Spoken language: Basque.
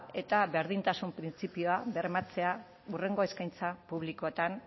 eta berdintasun printzipioa bermatzea hurrengo eskaintza publikoetan